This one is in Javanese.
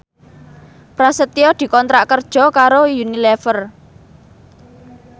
Prasetyo dikontrak kerja karo Unilever